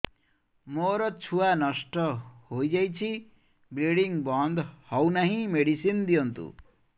ମୋର ଛୁଆ ନଷ୍ଟ ହୋଇଯାଇଛି ବ୍ଲିଡ଼ିଙ୍ଗ ବନ୍ଦ ହଉନାହିଁ ମେଡିସିନ ଦିଅନ୍ତୁ